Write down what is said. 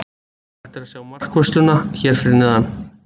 Hægt er að sjá markvörsluna hér fyrir neðan.